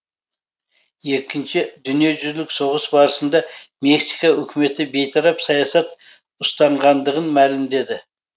екінші дүниежүзілік соғыс барысында мексика үкіметі бейтарап саясат ұстанғандығын мәлімдеді